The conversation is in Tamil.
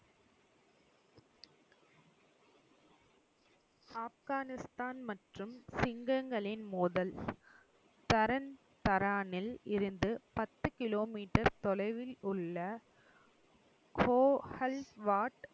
ஆப்கானிஸ்தான் மற்றும் சிங்கங்களின் மோதல். தரன்தரானில் இருந்து பத்துக் கிலோ மீட்டர் தொலைவில் உள்ள கோகல் வாட்